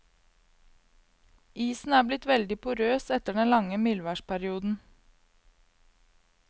Isen er blitt veldig porøs etter den lange mildværsperioden.